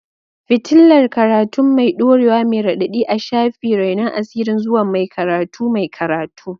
fitilar karatun mai dorewa mai raɗaɗi a shafi, renon asirin zuwa mai karatu mai karatu.